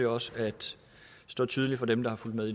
også står tydeligt for dem der har fulgt med